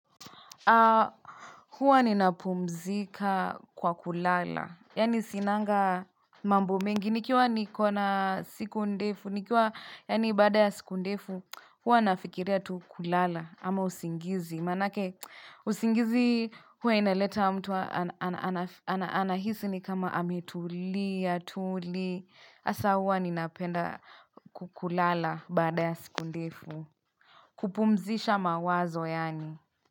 Huwa nina pumzika kwa kulala, yani sinaga mambo mengi, nikiwa nikona siku ndefu, nikiwa yani badaa ya siku ndefu, huwa nafikiria tu kulala ama usingizi, maana yake usingizi huwa inaleta mtu ana ana anahisi ni kama ametulia, tuli, asa huwa nina penda kukulala baada ya siku ndefu, kupumzisha mawazo yani.